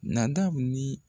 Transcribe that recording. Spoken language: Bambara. Nadamu ni